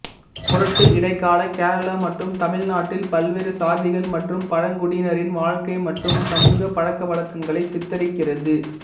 புரட்டு இடைக்கால கேரளா மற்றும் தமிழ்நாட்டின் பல்வேறு சாதிகள் மற்றும் பழங்குடியினரின் வாழ்க்கை மற்றும் சமூக பழக்கவழக்கங்களை சித்தரிக்கிறது